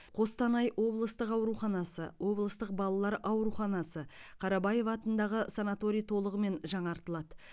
қостанай облыстық ауруханасы облыстық балалар ауруханасы қарабаева атындағы санаторий толығымен жаңартылады